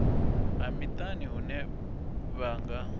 ha miṱani hune vha nga